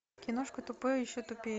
киношка тупой и еще тупее